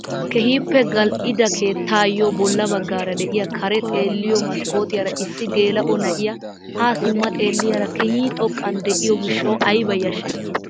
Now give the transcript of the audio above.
Keehippe gal"ida keettaayo bolla baggaara de'iyaa kare xeelliyoo maskkootiyaara issi geela'o na'iyaa ha simma xeelliyaara keehi xoqqan de'iyoo gishshawu ayba yashshay!